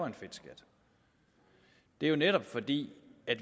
en fedtskat det er jo netop fordi